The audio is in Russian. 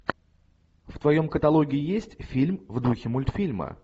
в твоем каталоге есть фильм в духе мультфильма